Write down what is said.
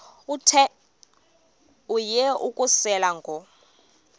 yehu ukususela ngo